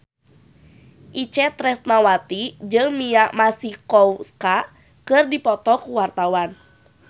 Itje Tresnawati jeung Mia Masikowska keur dipoto ku wartawan